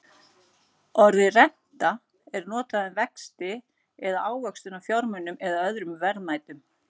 Orðið renta er notað um vexti eða ávöxtun á fjármunum eða öðrum verðmætum.